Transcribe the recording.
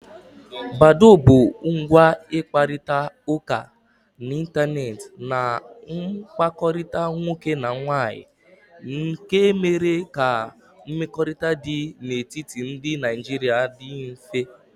Badó bụ ngwa ịkparịta ụka n'Ịntanet na mkpakọrịta nwoke na nwaanyị nke mere ka mmekọrịta dị n'etiti ndị Naijiria dị mfe.